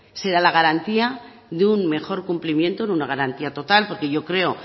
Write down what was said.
se da la garantía de un mejor cumplimiento de una garantía total porque yo creo